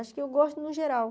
Acho que eu gosto no geral.